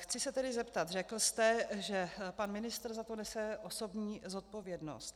Chci se tedy zeptat: Řekl jste, že pan ministr za to nese osobní zodpovědnost.